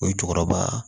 O ye cɛkɔrɔba